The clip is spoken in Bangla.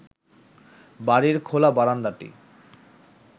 বাড়ির খোলা বারান্দাটি